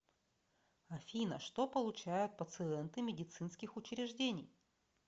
афина что получают пациенты медицинских учреждений